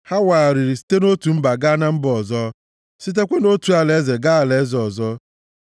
Ha wagharịrị site nʼotu mba gaa na mba ọzọ, sitekwa nʼotu alaeze gaa alaeze ọzọ.